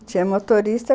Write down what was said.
Tinha motorista.